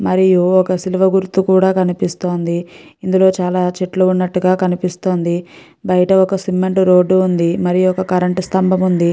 మరియు ఒక సిల్లువ గుర్తు కూడా కనిపిస్తుంది ఇందులో చాల చెట్లు వున్నటు గ కనిపిస్తుంది బయట ఒక సిమెంట్ రోడ్ వుంది ఒక స్థంబం వుంది.